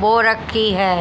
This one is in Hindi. बो रखी है।